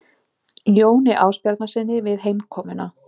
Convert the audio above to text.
Jóni Ásbjarnarsyni við heimkomuna.